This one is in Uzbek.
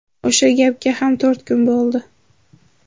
O‘sha gapga ham to‘rt kun bo‘ldi.